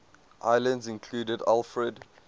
islands included alfred